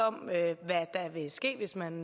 om hvad der vil ske hvis man